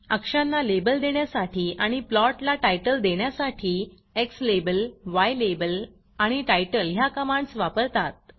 अक्षांना label देण्यासाठी आणि प्लॉटला टायटल देण्यासाठी एक्स लाबेल य्लाबेल आणि titleटाइटल ह्या कमांडस वापरतात